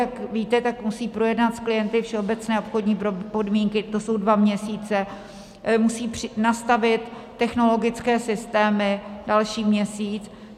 Jak víte, tak musí projednat s klienty všeobecné obchodní podmínky, to jsou dva měsíce, musí nastavit technologické systémy, další měsíc.